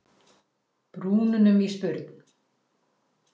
brúnunum í spurn.